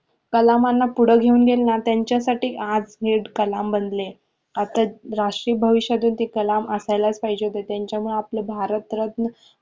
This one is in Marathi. कलामांना पुढ गेवून गेले ना त्यांच्या साठी आज हे कलाम बनले आता राष्ट्रीय भविष्यात ते कलाम असायलाच पाहिजे होते त्यांचा मूळ आपले भारतरत्न